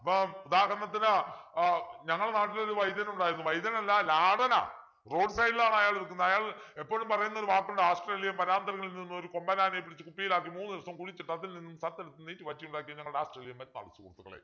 ഇപ്പൊ ഉദാഹരണത്തിന് ആഹ് ഞങ്ങടെ നാട്ടിലൊരു വൈദ്യനുണ്ടായിരുന്നു വൈദ്യനല്ല ലാടനാ road side ലാണ് അയാള് നിക്കുന്നത് അയാൾ എപ്പോളും പറയുന്നൊരു വാക്കുണ്ട് ആസ്‌ത്രേലിയൻ വനാന്തരങ്ങളിൽ നിന്ന് ഒരു കൊമ്പനാനയെ പിടിച്ചു കുപ്പിയിലാക്കി മൂന്നു ദിവസം കുഴിച്ചിട്ടു അതിൽ നിന്നും സത്തെടുത്ത് നീറ്റ് വറ്റിയുണ്ടാക്കിയ ഞങ്ങടെ ഞങ്ങടെ ആസ്‌ത്രേലിയൻ സുഹൃത്തുക്കളെ